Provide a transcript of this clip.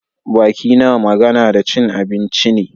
Baki na magana da cin abinci ne.